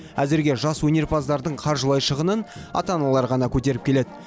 әзірге жас өнерпаздардың қаржылай шығынын ата аналары ғана көтеріп келеді